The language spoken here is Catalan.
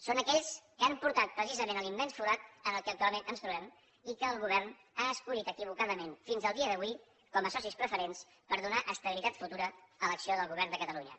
són aquells que han portat precisament a l’immens forat en el que actualment ens trobem i que el govern ha escollit equivocadament fins al dia d’avui com a socis preferents per donar estabilitat futura a l’acció del govern de catalunya